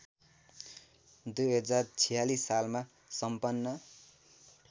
२०४६ सालमा सम्पन्न